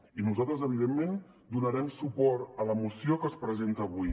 i nosaltres evidentment donarem suport a la moció que es presenta avui